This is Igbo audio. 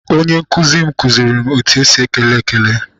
Onye nkụzi m kụziere m etu esi ekele ekele.